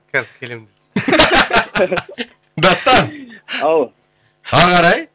қазір келемін дастан ау ары қарай